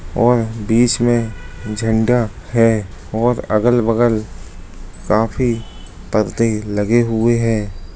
और बीच में झंडा है और अगल-बगल काफी परदे लगे हुए हैं।